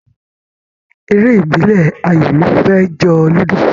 Eré ìbílẹ̀ ayò ló fẹ́ jọ Ludo